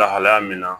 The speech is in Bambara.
Lahalaya min na